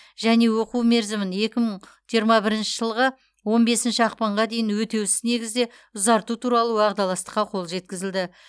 және оқу мерзімін екі мың жиырма бірінші жылғы он бесінші ақпанға дейін өтеусіз негізде ұзарту туралы уағдаластыққа қол жеткізілді